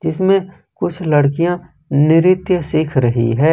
इसमें कुछ लड़कियां नृत्य सीख रही है।